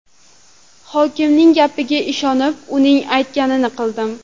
Hokimning gapiga ishonib, uning aytganini qildim.